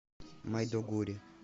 майдугури